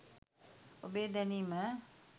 ඔබේ දැනීම